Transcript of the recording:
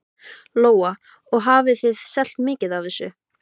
Lóa: Og hafið þið selt mikið af þessu?